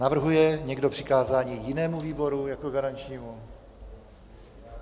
Navrhuje někdo přikázání jinému výboru jako garančnímu?